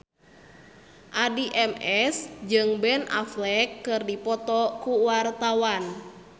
Addie MS jeung Ben Affleck keur dipoto ku wartawan